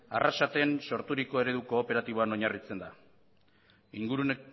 arrasaten sorturiko eredu kooperatiboan oinarritzen da ingurune